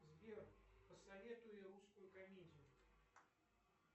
сбер посоветуй русскую комедию